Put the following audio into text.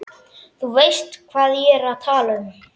Þú veist hvað ég er að tala um.